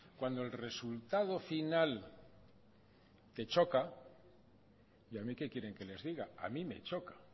cuando el resultado final te choca y a mí qué quieren que les diga a mí me choca a